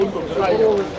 Biz döyüşdük.